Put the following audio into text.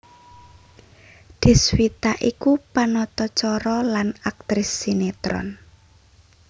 Deswita iku panata cara lan aktris sinetron